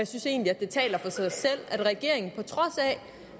synes egentlig at det taler for sig selv at regeringen på trods af